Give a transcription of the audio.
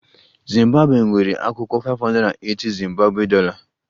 Zimbabwe nwere akwụkwọ 580- zimbabwe dollar